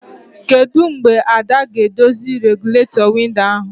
Kedụ mgbe Ada ga-edozi regụlatọ windo ahụ?